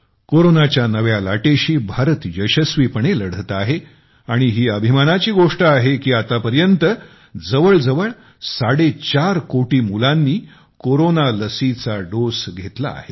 कोरोनाच्या नव्या लाटेशी भारत यशस्वीपणे लढत आहे आणि ही अभिमानाची गोष्ट आहे की आतापर्यंत जवळजवळ साडे चार करोड मुलांनी कोरोना लसीचा डोस घेतलेला आहे